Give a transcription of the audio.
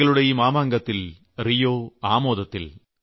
കളികളുടെ ഈ മാമാങ്കത്തിൽ റിയോ ആമോദത്തിൽ